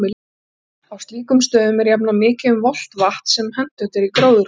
Á slíkum stöðum er jafnan mikið um volgt vatn, sem hentugt er í gróðrarhús.